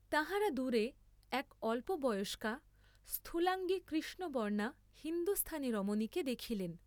তাঁহারা দূরে এক অল্পবয়স্কা স্থুলাঙ্গী কৃষ্ণবর্ণা হিন্দুস্থানী রমণীকে দেখিলেন।